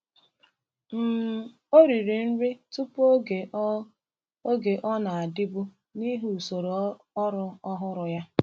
um Ọ riri nri tupu oge ọ oge ọ na-adịbu n’ihi usoro ọrụ ọhụrụ ya.